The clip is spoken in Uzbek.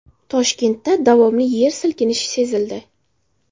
Toshkentda davomli yer silkinishi sezildi .